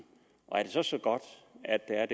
er det så så godt at der er